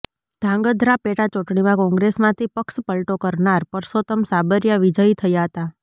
ધ્રાંગધ્રા પેટાચૂંટણીમાં કોંગ્રેસમાંથી પક્ષપલટો કરનાર પરસોતમ સાબરિયા વિજયી થયા હતા